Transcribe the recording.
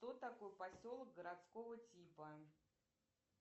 кто такой поселок городского типа